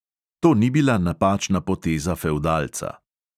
To ni bila napačna poteza fevdalca.